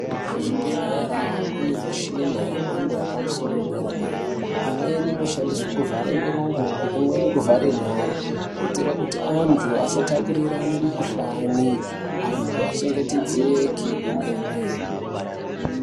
Kuzvibhedhlera kune mishina yemhando yepamusoro wedera dera, imweni inoshandiswe kuvhara miromo imweni kuvhara nyari kuitere kuti andu asatapurirane kuhlani anhu achengetedzeke kwemene.